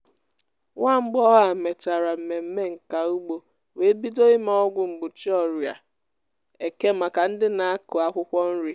nwamgbọghọ á mechara mmemme nka ugbo wee bido ime ọgwụ mgbochi ọrịa eke maka ndị na-akụ akwụkwọ nri.